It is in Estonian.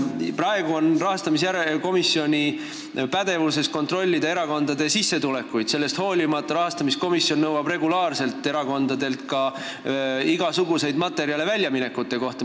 Praegu on rahastamise järelevalve komisjoni pädevuses kontrollida erakondade sissetulekuid, kuid sellest hoolimata nõuab ta regulaarselt erakondadelt ka igasuguseid materjale väljaminekute kohta.